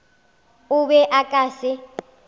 o be o ka se